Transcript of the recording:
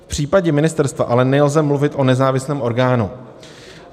V případě ministerstva ale nelze mluvit o nezávislém orgánu.